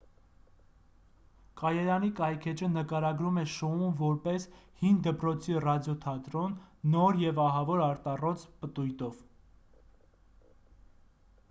կայարանի կայքէջը նկարագրում է շոուն որպես հին դպրոցի ռադիոթատրոն նոր և ահավոր արտառոց պտույտով